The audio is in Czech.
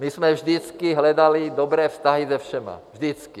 My jsme vždycky hledali dobré vztahy se všemi, vždycky.